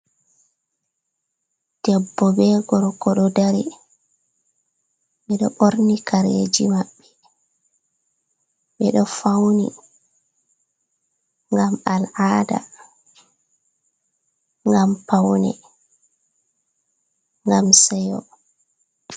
Debbo be gorko ɗo dari, beɗo ɓorni kareji maɓɓe, ɓeɗo fauni ngam al'ada, ngam paune, ngam seyo.